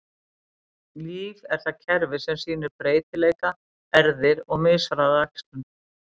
Líf er það kerfi sem sýnir breytileika, erfðir, og mishraða æxlun.